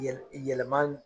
Yɛlɛ yɛlɛma